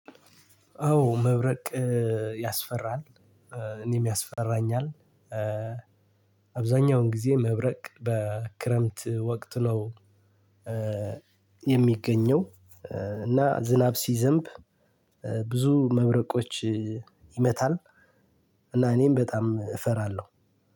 አዎ መብረቅ ያስፈራል። እኔም ያስፈራኛል። አብዛኛውን ጊዜ መብረቅ በክረምት ወቅት ነው። የሚገኘው እና ዝናብ ሲዘንብ ብዙ መብረቆች ይመታል። እና እኔም በጣም እፈራለሁ።